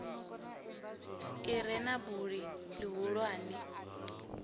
i re na buli ḽihulwane